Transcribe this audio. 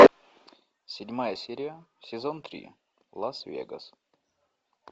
седьмая серия сезон три лас вегас